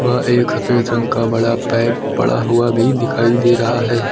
वह एक सफेद रंग का बड़ा पाइप पड़ा हुआ भी दिखाई दे रहा है।